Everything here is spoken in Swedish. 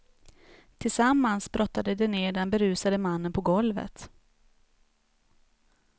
Tillsammans brottade de ner den berusade mannen på golvet.